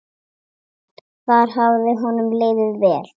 Þar hafði honum liðið vel.